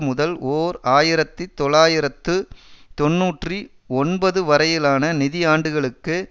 முதல் ஓர் ஆயிரத்தி தொள்ளாயிரத்து தொன்னூற்றி ஒன்பது வரையிலான நிதியாண்டுகளுக்கு